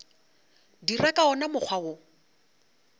dira ka wona mokgwa wo